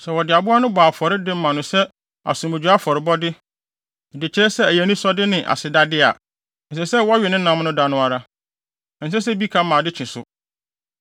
Sɛ wɔde aboa no bɔ Awurade afɔre de ma no sɛ asomdwoe afɔrebɔ de kyerɛ sɛ ɛyɛ anisɔ ne asedade a, ɛsɛ sɛ wɔwe ne nam da no ara. Ɛnsɛ sɛ bi ka ma ade kye so.